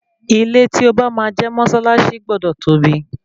Ilé tí o bá máa jẹ́ mọ́sálásí gbọdọ tóbi.